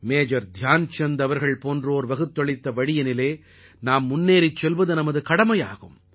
major Dhyanchand அவர்கள் போன்றோர் வகுத்தளித்த வழியினிலே நாம் முன்னேறிச் செல்வது நமது கடமையாகும்